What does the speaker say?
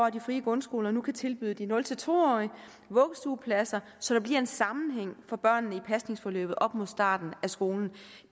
at de frie grundskoler nu kan tilbyde de nul to årige vuggestuepladser så der bliver en sammenhæng for børnene i pasningsforløbet op mod starten af skolen